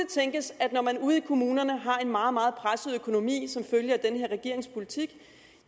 tænkes at når man ude i kommunerne har en meget meget presset økonomi som følge af den her regerings politik